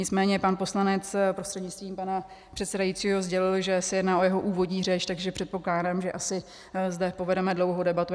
Nicméně pan poslanec, prostřednictvím pana předsedajícího, sdělil, že se jedná o jeho úvodní řeč, takže předpokládám, že asi zde povedeme dlouhou debatu.